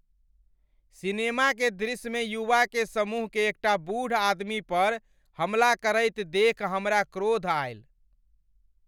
Cinema के दृश्य मे युवा के समूह के एकटा बूढ़ आदमी पर हमला करैत देखि हमरा क्रोध आयल।